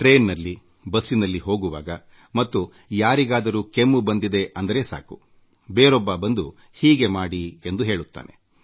ರೈಲಿನಲ್ಲಿ ಬಸ್ಸಿನಲ್ಲಿ ಹೋಗುವಾಗ ಯಾರಾದರೂ ಕೆಮ್ಮಿದರೂ ಸಾಕು ಬೇರೊಬ್ಬರು ಬಂದು ಅದರ ಪರಿಹಾರ ಹೀಗೆ ಎಂಬ ಸಲಹೆ ನೀಡುತ್ತಾರೆ